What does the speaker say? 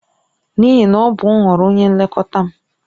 N'ihi na ọ bụ nhọrọ onye nlekọta m.